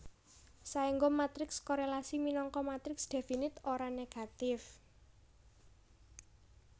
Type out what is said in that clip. Saéngga matriks korélasi minangka matriks definit ora negatif